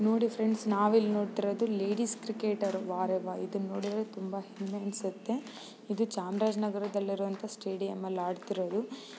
ನೋಡಿ ಫ್ರೆಂಡ್ಸ್ ನಾವು ಇಲ್ಲಿ ನೋಡುತ್ತಿರುವುದು ಲೇಡೀಸ್ ಕ್ರಿಕೆಟರ್ ವಾರೆವಾ ಇದು ನೋಡಿದ್ರೆ ತುಂಬಾ ಹೆಮ್ಮೆ ಅನ್ಸುತ್ತೆ ಇದು ಚಾಮರಾಜನಗರದಲ್ಲಿ ಇರುವಂತಹ ಸ್ಟೇಡಿಯಂ ಅಲ್ಲಿ ಹಾಡುತ್ತಿರುವುದು.